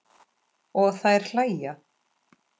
Og þær hlæja.